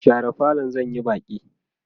share falon zan Yi Baki!